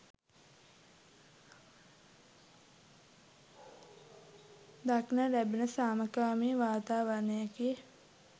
දක්නට ලැබුනේ සාමකාමී වාතාවරණයකි